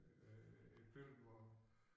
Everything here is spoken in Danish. Øh et billede hvor